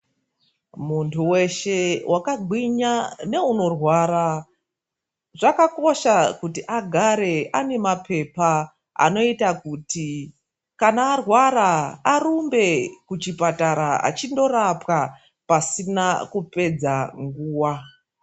Munthu weshe wakagwinya neunorwara, zvakakosha kuti agare ane mapepa anoita kuti kana arwara arumbe kuchipatara achindorapwa pasina kupedza nguwa.